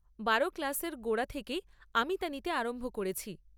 বারো ক্লাসের গোড়া থেকেই আমি তা নিতে আরম্ভ করেছি।